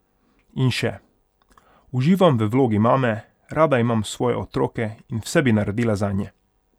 In še: "Uživam v vlogi mame, rada imam svoje otroke in vse bi naredila zanje.